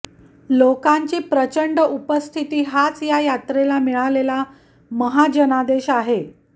लोकांची प्रचंड उपस्थिती हाच या यात्रेला मिळालेला महाजनादेश आहे